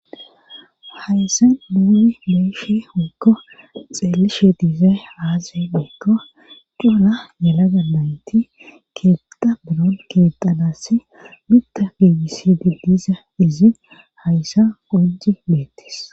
hayssan nuuni be7ishe woyko xeelishe dizay aaze giiko cora yelaga nayti keetha biron keexanassi mitta geegisi didisa izin hayssa qonci bettees